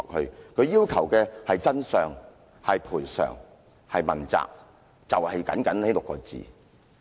她們要求的是真相、賠償、問責，就僅僅這6個字。